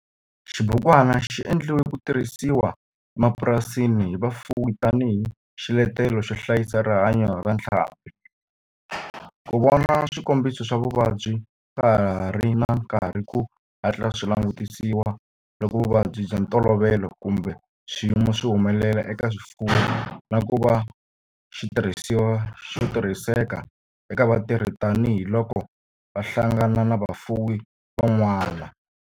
Xibukwana xi endliwe ku tirhisiwa emapurasini hi vafuwi tani hi xiletelo xo hlayisa rihanyo ra ntlhambhi, ku vona swikombiso swa vuvabyi ka ha ri na nkarhi ku hatla swi langutisiwa loko vuvabyi bya ntolovelo kumbe swiyimo swi humelela eka swifuwo, na ku va xitirhisiwa xo tirhiseka eka vatirhi tani hi loko va hlangana na vafuwi van'wana.